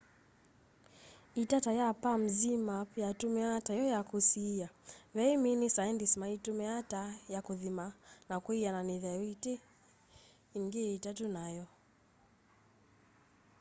itata ya palm zmapp yatumiawa tayo ya kusiia vei mini saendisti maitumiaa ta ya kuthima na kwiananithya uiiti ingi itatu nayo